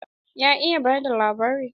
Ya iya ba da labari.